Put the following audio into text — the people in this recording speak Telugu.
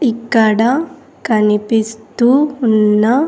ఇక్కడ కనిపిస్తూ ఉన్న.